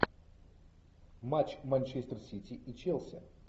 матч манчестер сити и челси